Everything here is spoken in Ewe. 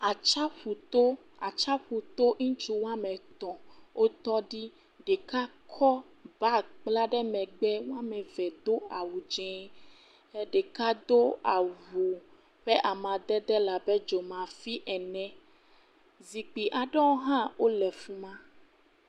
Atsiaƒuto, atsiaƒuto, ŋutsu woame etɔ̃ wotɔ ɖi, ɖeka kɔ bag kpla ɖe megbe, woame eve do awu dzee, ɖeka do awu ƒe amadede le abe dzomafi ene, zikpui aɖewo hã wole fi ma.